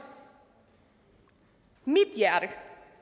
mit hjerte